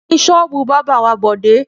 Níbo ni ṣọ́ọ́bù bábà wà Bọ̀dé?